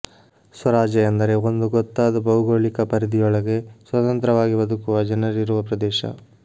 ಸ್ವರಾಜ್ಯ ಎಂದರೆ ಒಂದು ಗೊತ್ತಾದ ಭೌಗೋಳಿಕ ಪರಿಧಿಯೊಳಗೆ ಸ್ವತಂತ್ರವಾಗಿ ಬದುಕುವ ಜನರಿರುವ ಪ್ರದೇಶ